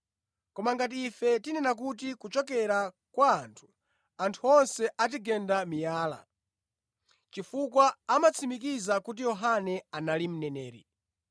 Koma ngati ife tinena kuti, ‘kuchokera kwa anthu,’ anthu onse atigenda miyala, chifukwa amatsimikiza kuti Yohane anali mneneri.”